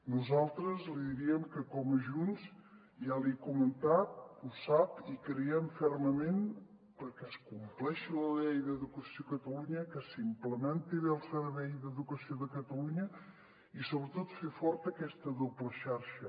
nosaltres li diríem que com a junts ja li he comentat ho sap i creiem fermament que perquè es compleixi la llei d’educació de catalunya que s’implementi bé el servei d’educació de catalunya i sobretot fer forta aquesta doble xarxa